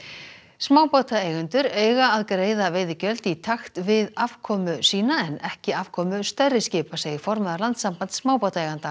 smábátaeigendur eiga að greiða veiðigjöld í takt við afkomu sína en ekki afkomu stærri skipa segir formaður Landssambands smábátaeigenda